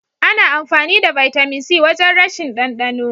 Ana amfani da bitamin C wajen rashin ɗandano.